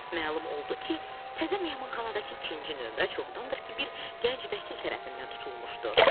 Məlum oldu ki, təzə mehmanxanadakı ikinci nömrə çoxdandır ki, bir gənc vəkil tərəfindən tutulmuşdu.